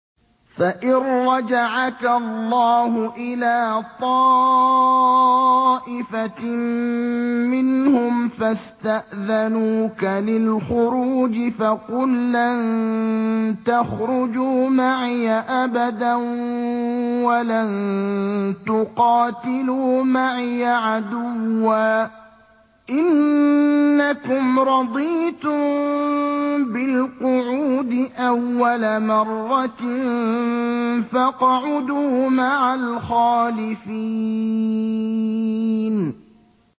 فَإِن رَّجَعَكَ اللَّهُ إِلَىٰ طَائِفَةٍ مِّنْهُمْ فَاسْتَأْذَنُوكَ لِلْخُرُوجِ فَقُل لَّن تَخْرُجُوا مَعِيَ أَبَدًا وَلَن تُقَاتِلُوا مَعِيَ عَدُوًّا ۖ إِنَّكُمْ رَضِيتُم بِالْقُعُودِ أَوَّلَ مَرَّةٍ فَاقْعُدُوا مَعَ الْخَالِفِينَ